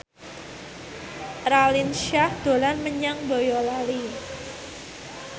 Raline Shah dolan menyang Boyolali